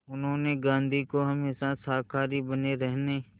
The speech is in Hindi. उन्होंने गांधी को हमेशा शाकाहारी बने रहने